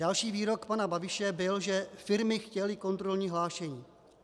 Další výrok pana Babiše byl, že firmy chtěly kontrolní hlášení.